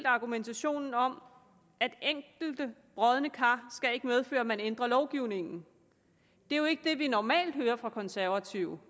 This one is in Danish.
argumentationen om at enkelte brodne kar skal medføre at man ændrer lovgivningen det er jo ikke det vi normalt hører fra konservative